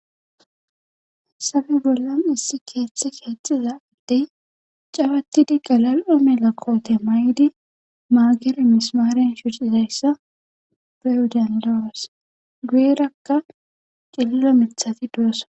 sabe bollan issi keeththe keexxiza addey cawattidi galal7o mela koote may7di maagere mismaaren shucizayssa brewudian lawes guyerakka qililo mithati du7ossa